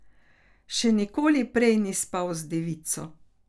Še nikoli prej ni spal z devico.